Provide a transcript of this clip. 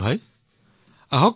বিপিনভাইলৈ অশেষ ধন্যবাদ